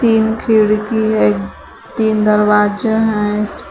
तीन खिड़की है तीन दरवाजा हैं।